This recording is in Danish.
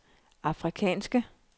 afrikanske